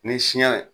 Ni siɲɛ